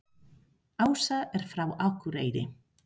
Ása er frá Akureyri.